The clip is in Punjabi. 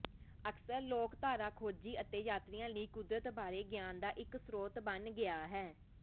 ਅਕਸਰ ਲੋਕਧਾਰਾ ਖੋਜੀ ਅਤੇ ਯਾਤਰੀਆ ਲਈ ਕੁਦਰਤ ਬਾਰੇ ਗਿਆਨ ਦਾ ਇੱਕ ਸਰੋਤ ਬਣ ਗਿਆ ਹੈ